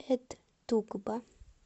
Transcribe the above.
эт тукба